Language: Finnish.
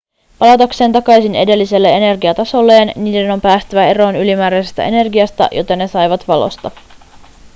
palatakseen takaisin edelliselle energiatasolleen niiden on päästävä eroon ylimääräisestä energiasta jota ne saivat valosta